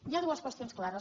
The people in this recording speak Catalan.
hi ha dues qüestions clares